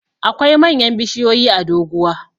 akwai manyan bishiyoyi a doguwa